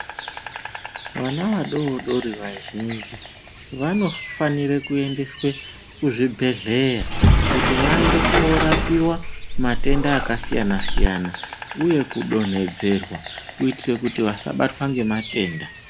Vana vadodori vazhinji vanofanire kuendeswe kuzvibhedhera kuti vaende korapiwa matenda akasiyana siyana uye kudonhedzerwa kuitire kuti vasabatwa ngematenda.